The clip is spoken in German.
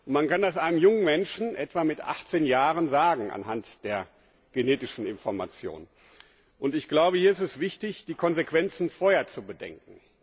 Man kann das einem jungen Menschen etwa mit 18 Jahren anhand der genetischen Information sagen. Hier ist es wichtig, die Konsequenzen vorher zu bedenken.